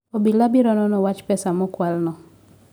Obila biro nono wach pesa ma okwalno